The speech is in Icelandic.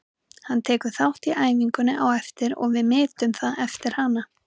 Hann tekur þátt í æfingunni á eftir og við metum það eftir hana.